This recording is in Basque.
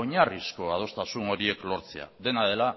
oinarrizko adostasun horiek lortzea dena dela